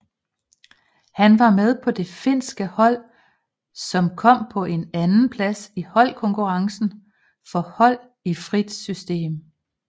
Han var med på det finske hold som kom på en andenplads i holdkonkurrencen for hold i frit system